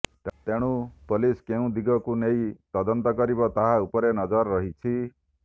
ତେଣୁ ପୋଲିସ କେଉଁ ଦିଗକୁ ନେଇ ତଦନ୍ତ କରିବ ତାହା ଉପରେ ନଜର ରହିଛି